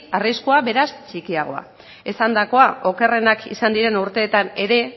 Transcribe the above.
arriskua beraz txikiagoa esandakoa okerrenak izan diren urteetan ere